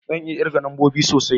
Zan iya kirga lambobi sosai